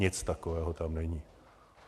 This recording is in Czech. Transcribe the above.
Nic takového tam není.